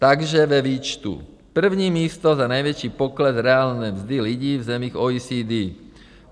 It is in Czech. Takže ve výčtu: První místo za největší pokles reálné mzdy lidí v zemích OECD.